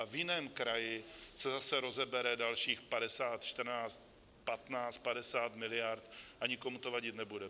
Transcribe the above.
A v jiném kraji se zase rozebere dalších 50, 14, 15, 50 miliard a nikomu to vadit nebude.